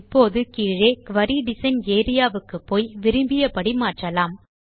இப்போது கீழே குரி டிசைன் ஏரியா வுக்குப்போய் விரும்பியபடி மாற்றலாம்